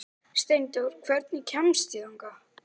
Steindór, hvernig kemst ég þangað?